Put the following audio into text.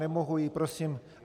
Nemohu ji prosím...